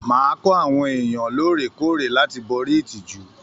Máa kọ àwọn èèyàn lóòrèkóòrè láti borí ìtìjú!